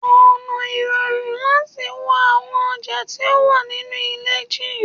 ona irorun lati wo awon oja ti o wa ninu ile ji